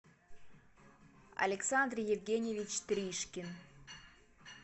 александр евгеньевич тришкин